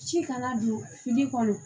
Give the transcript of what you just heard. Ci kana don fili kɔnɔ